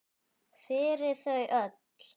Fyrir þau öll!